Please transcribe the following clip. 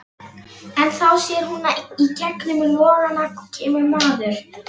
En þá sér hún að í gegnum logana kemur maður.